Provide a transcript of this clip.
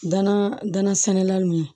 Danna danna samiya min